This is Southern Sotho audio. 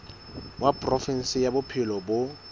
wa provinse ya bophelo bo